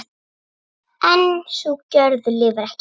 En sú gjörð lifir ekki.